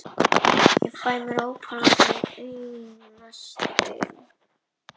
Hefi ég þá rakið í stórum dráttum sögu þessa lóðamáls fram að þessum degi.